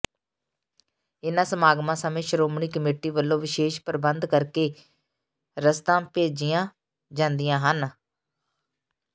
ਇਨ੍ਹਾਂ ਸਮਾਗਮਾਂ ਸਮੇਂ ਸ਼੍ਰੋਮਣੀ ਕਮੇਟੀ ਵੱਲੋਂ ਵਿਸ਼ੇਸ ਪ੍ਰਬੰਧ ਕਰਕ ਕੇ ਰਸਦਾਂ ਭੇਜੀਆਂ ਜਾਂਦੀਆਂ ਹਨ